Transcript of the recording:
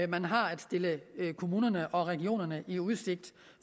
man har at stille kommunerne og regionerne i udsigt